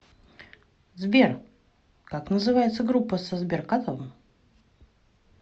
сбер как называется группа со сберкотом